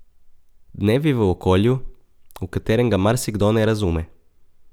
Dnevi v okolju, v katerem ga marsikdo ne razume.